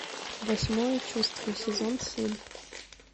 восьмое чувство сезон семь